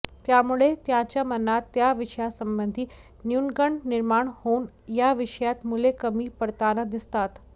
त्यामुळे त्यांच्या मनात त्या विषयासंबधी न्यूनगंड निर्माण होऊन या विषयात मुले कमी पडताना दिसतात